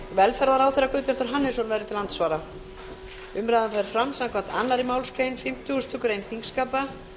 velferðarráðherra guðbjartur hannesson verður til andsvara umræðan fer fram samkvæmt annarri málsgrein fimmtugustu grein þingskapa